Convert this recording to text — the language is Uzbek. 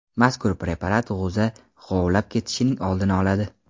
Mazkur preparat g‘o‘za g‘ovlab ketishining oldini oladi.